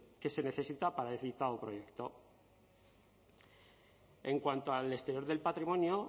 que se necesita para el citado proyecto en cuanto al exterior del patrimonio